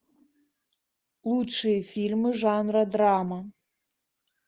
лучшие фильмы жанра драма